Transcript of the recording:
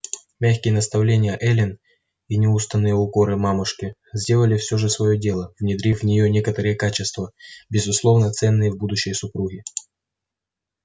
мягкие наставления эллин и неустанные укоры мамушки сделали все же своё дело внедрив в нее некоторые качества безусловно ценные в будущей супруге